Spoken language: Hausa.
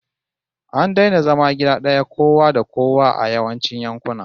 An daina zama gida daya kowa da kowa a yawancin yankuna